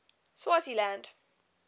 swaziland